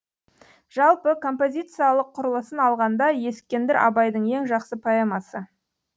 жалпы композициялық құрылысын алғанда ескендір абайдың ең жақсы поэмасы